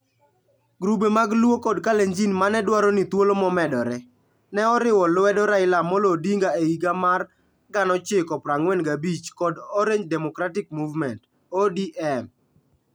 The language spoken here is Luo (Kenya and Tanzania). Grube mag Luo kod Kalenjin ma ne dwaro ni thuolo momedore, ne oriwo lwedo Raila Amolo Odinga e higa 1945 kod Orange Democratic Movement (ODM).